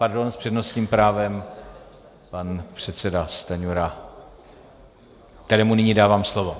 Pardon, s přednostním právem pan předseda Stanjura, kterému nyní dávám slovo.